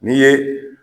N'i ye